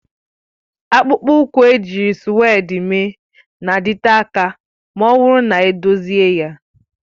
Akpụkpọ ụkwụ ejiri sụ́wédi mee na-adịte aka ma ọ bụrụ na edozie ya